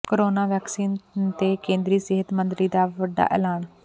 corona vaccine ਤੇ ਕੇਂਦਰੀ ਸਿਹਤ ਮੰਤਰੀ ਦਾ ਵੱਡਾ ਐਲਾਨ